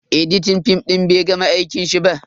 Editan fim din bai gama aikin shi ba.